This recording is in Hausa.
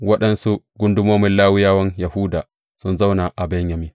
Waɗansu gundumomin Lawiyawan Yahuda sun zauna a Benyamin.